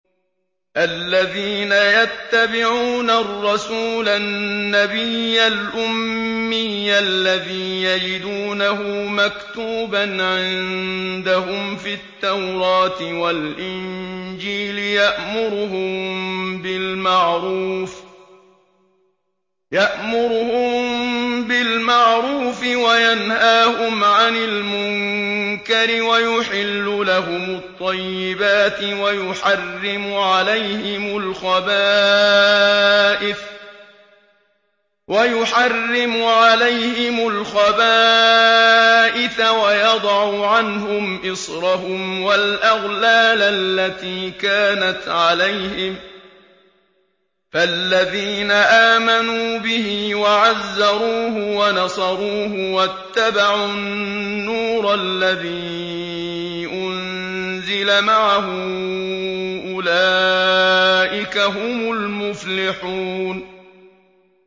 الَّذِينَ يَتَّبِعُونَ الرَّسُولَ النَّبِيَّ الْأُمِّيَّ الَّذِي يَجِدُونَهُ مَكْتُوبًا عِندَهُمْ فِي التَّوْرَاةِ وَالْإِنجِيلِ يَأْمُرُهُم بِالْمَعْرُوفِ وَيَنْهَاهُمْ عَنِ الْمُنكَرِ وَيُحِلُّ لَهُمُ الطَّيِّبَاتِ وَيُحَرِّمُ عَلَيْهِمُ الْخَبَائِثَ وَيَضَعُ عَنْهُمْ إِصْرَهُمْ وَالْأَغْلَالَ الَّتِي كَانَتْ عَلَيْهِمْ ۚ فَالَّذِينَ آمَنُوا بِهِ وَعَزَّرُوهُ وَنَصَرُوهُ وَاتَّبَعُوا النُّورَ الَّذِي أُنزِلَ مَعَهُ ۙ أُولَٰئِكَ هُمُ الْمُفْلِحُونَ